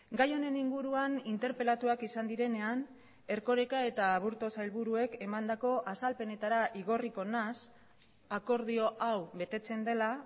gai honen inguruan interpelatuak izan direnean erkoreka eta aburto sailburuek emandako azalpenetara igorriko naiz akordio hau betetzen dela